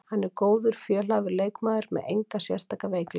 Hann er góður, fjölhæfur leikmaður með enga sérstaka veikleika.